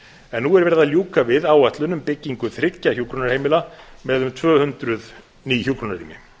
en nú er verið að ljúka við áætlun um byggingu þriggja hjúkrunarheimila með um tvö hundruð ný hjúkrunarrými